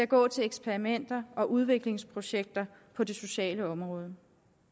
gå til eksperimenter og udviklingsprojekter på det sociale område